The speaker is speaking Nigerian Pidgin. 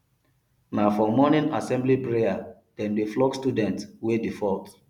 na for morning assembly prayer dem dey flog students wey default